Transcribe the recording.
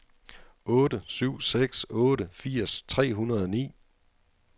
otte syv seks otte firs tre hundrede og ni